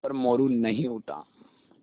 पर मोरू नहीं उठा